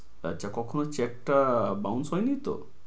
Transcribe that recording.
এটা কখনো check টা bounce হয়নিতো